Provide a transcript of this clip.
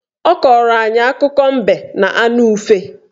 Ọ kọọrọ anyị akụkọ mbe na anụ ufe